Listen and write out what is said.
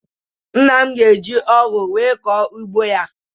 Nna m ga-eji ọgụ wee kọọ ugbo ya.